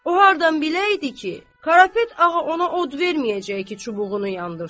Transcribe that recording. O hardan biləydi ki, Karapet ağa ona od verməyəcək ki, çubuğunu yandırsın.